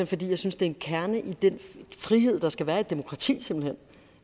fordi jeg synes det er en kerne i den frihed der skal være i et demokrati så